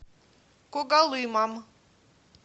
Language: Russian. когалымом